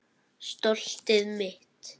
Stoltið mitt.